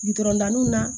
Gudɔrɔn danniw na